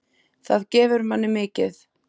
Það gefur manni mikið.